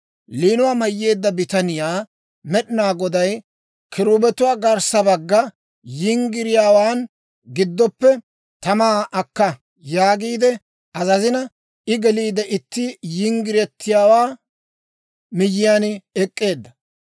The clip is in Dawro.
Liinuwaa mayyeedda bitaniyaa Med'inaa Goday, «Kiruubetuwaa garssa bagga yinggiriyaawaa giddoppe tamaa akka» yaagiide azazina, I geliide itti yinggiretiyaawaa miyyiyaan ek'k'eedda.